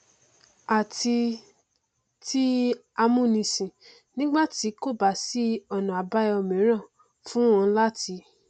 àti ti ti amúnisìn nígbà tí kò bá sí ọnà àbáyọ mìíràn fún wọn láti